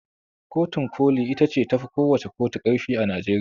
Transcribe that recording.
Kotun ƙoli ita ce tafi kowacce ƙotu ƙarfi a Najeriya.